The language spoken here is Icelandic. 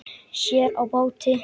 Sér á báti.